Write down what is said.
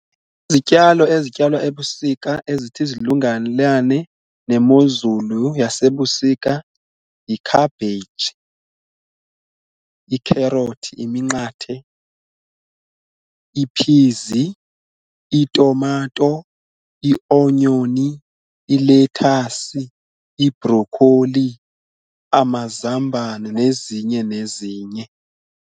Izityalo ezityalwa ebusika ezithi zilungelane nemozulu yasebusika y-cabbage, ikherothi iminqathe, iphizi, itumato, i-onyoni, ilethasi, ibrokholi, amazambane nezinye nezinye.